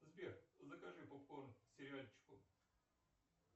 сбер закажи попкорн к сериальчику